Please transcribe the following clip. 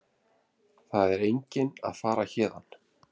Það er enginn að fara héðan.